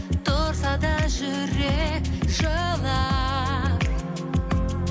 тұрса да жүрек жылап